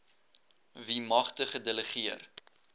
wie magte gedelegeer